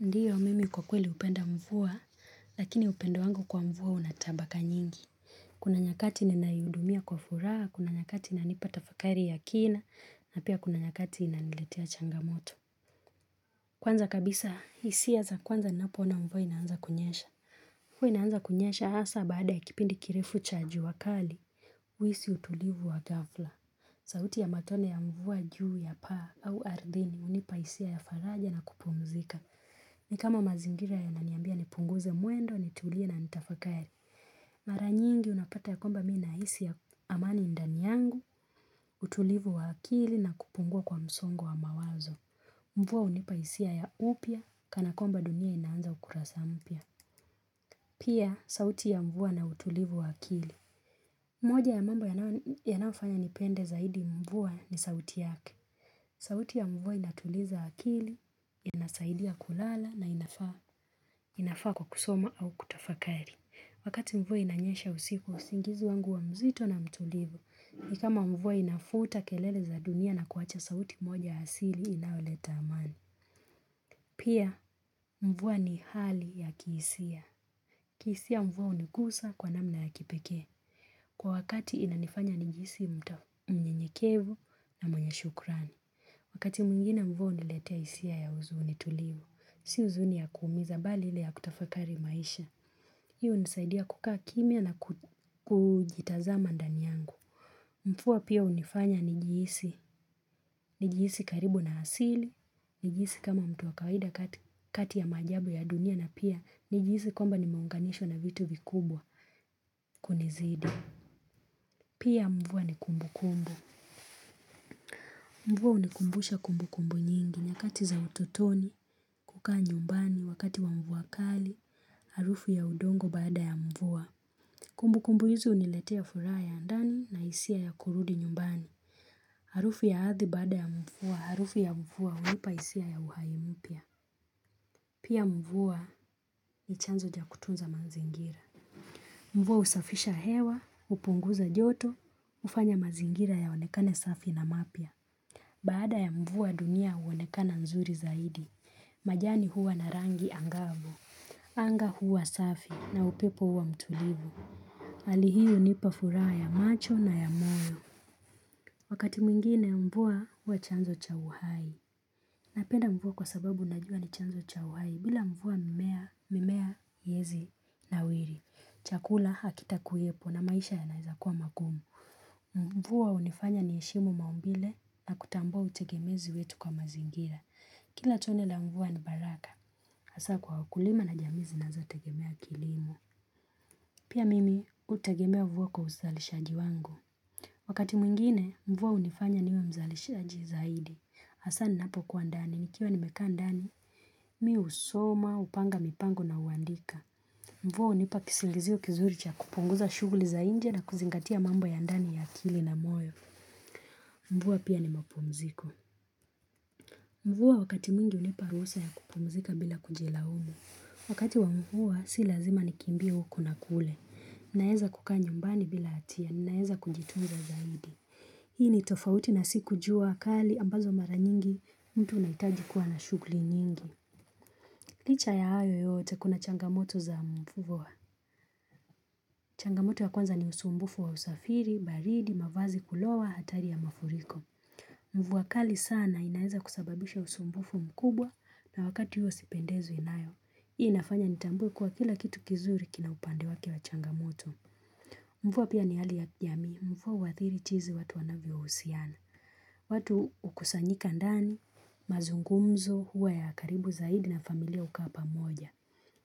Ndiyo, mimi kwa kweli hupenda mvuwa, lakini upendo wangu kwa mvuwa una tabaka nyingi. Kuna nyakati nina yudumia kwa furaha, kuna nyakati nanipata tafakari ya kina, na pia kuna nyakati ninaniletia changamoto. Kwanza kabisa, hisia za kwanza napoona mvuwa inaanza kunyesha. Mvua inaanza kunyesha hasa baada ya kipindi kirefu cha juu kali, huhisi utulivu wa ghafla. Zauti ya matone ya mvua juu ya paa au ardhini hunipa hisia ya faraja na kupumzika. Ni kama mazingira yananiambia nipunguze mwendo ni tulia na nitafakari. Mara nyingi unapata ya kwamba mi nahisi ya amani ndani yangu, utulivu wa akili na kupungua kwa msongu wa mawazo. Mvua hunipa hisia ya upya kana kwamba dunia inaanza ukurasa mpya. Pia, sauti ya mvuwa na utulivu wa akili. Moja ya mambo yana yananiyofanya nipende zaidi mvua ni sauti yake. Sauti ya mvua inatuliza akili, inasaidia kulala na inafaa inafaa kwa kusoma au kutafakari. Wakati mvua inanyesha usiku, usingizi wangu huwa mzito na mtulivu. Ni kama mvua inafuta kelele za dunia na kuwacha sauti moja asili inayoleta amani. Pia mvuwa ni hali ya kihisia. Kihisia mvua hunigusa kwa namna ya kipekee. Kwa wakati inanifanya nijihisi mtaa mnyenyekevu na mwenye shukrani. Wakati mwingine mvua huniletea hisia ya huzuni tulivu. Si huzuni ya kuumiza mbali ili ya kutafakari maisha. Hiyo hunisaidia kukaa kimya naku kuujitazama ndani nyangu. Mfua pia hunifanya nijihisi. Nijihisi karibu na asili. Nijihisi kama mtu wa kawida kati kati ya maajabu ya dunia na pia nijihisi kwamba nimeunganishwa na vitu vikubwa kunizidi. Pia mvua ni kumbukumbu. Mvua hunikumbusha kumbukumbu nyingi. Nyakati za utotoni, kukaa nyumbani, wakati wa mvua kali, harufu ya udongo baada mvua. Kumbukumbu hizi huniletea furaha ya ndani na hisia ya kurudi nyumbani. Harufi ya ardhi baada ya mvua, harufi ya mvuwa hunipa hisia ya uhai mpya. Pia mvua ni chanzo cha kutunza mazingira. Mvua husafisha hewa, hupunguza joto, hufanya mazingira yaonekane safi na mapya. Baada ya mvua dunia huonekana nzuri zaidi. Majani huwa na rangi angabu. Anga huwa safi na upepo huwa mtulivu. Hali hii hunipa furaha ya macho na ya moyo Wakati mwingine mvua huwa chanzo cha uhai Napenda mvua kwa sababu najua ni chanzo cha uhai bila mvua mimea mimea heizi nawiri Chakula hakitakuwepo na maisha yanaeza kuwa mangumu Mvua junifanya ni heshimu maumbile na kutambua utegemezi wetu kwa mazingira Kila tone la mvua ni baraka hasa kwa wakulima na jamii zinazotegemea kilimo Pia mimi, hutegemea mvua kwa uzalishaji wangu. Wakati mwingine, mvua hunifanya niwe mzalishaji zaidi. Hasaa ninapokua ndani, nikiwa nimekaa ndani, mi husoma, hupanga mipango na huandika. Mvua hunipa kisingizio kizuri cha kupunguza shuguli za nje na kuzingatia mambo ya ndani ya akili na moyo. Mvua pia ni mapumziko. Mvua wakati mwingi hunipa ruhusa ya kupumzika bila kujilaumu. Wakati wa mvua, si lazima nikimbie huku na kule. Naeza kukaa nyumbani bila hatia, naeza kujitunza zaidi Hii ni tofauti na siku jua kali ambazo mara nyingi mtu unahitaji kuwa na shughuli nyingi Licha ya hayo yote kuna changamoto za mvua changamoto ya kwanza ni usumbufu wa usafiri, baridi, mavazi kulowa, hatari ya mafuriko Mvua kali sana inaeza kusababisha usumbufu mkubwa na wakati huo sipendezwi nayo Hii inafanya nitambue kuwa kila kitu kizuri kina upande wake wa changamoto Mvua pia ni hali ya jamii. Mvua huadhiri chizi watu wanavyohusiana. Watu hukusanyika ndani mazungumzo huwa ya karibu zaidi na familia hukaa pamoja.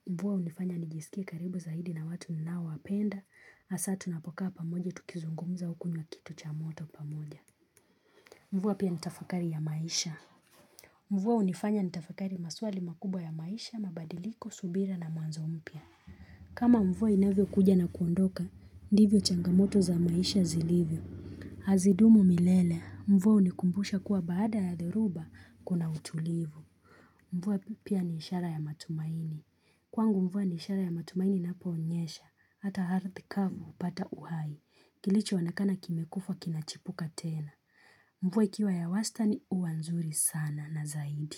Mvua hunifanya nijisikia karibu zaidi na watu ninaowapenda hasaa tunapoka pamoja tukizungumza hukunywa kitu cha moto pamoja. Mvuwa pia nitafakari ya maisha. Mvua hunifanya nitafakari maswali makubwa ya maisha mabadiliko, subira na mwanzo mpya. Kama mvua inavyokuja na kuondoka, ndivyo changamoto za maisha zilivyo. Hazidumu milele, mvua hunikumbusha kuwa baada ya dheruba kuna utulivu. Mvua pia ni ishara ya matumaini. Kwangu mvua ni ishara ya matumaini inaponyesha. Hata ardhi kavu hupata uhai. Kilichoonekana kimekufa kinachipuka tena. Mvua ikiwa ya wastani huwa nzuri sana na zaidi.